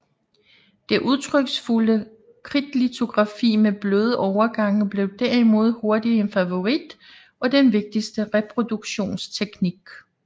Det udtryksfulde kridtlitografi med bløde overgange blev derimod hurtigt en favorit og den vigtigste reproduktionsteknik